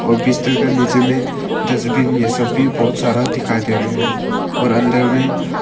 और बिस्तर का नीचे में डस्टबिन ये सब भी बहोत सारा दिखाई दे रहे और अंदर में--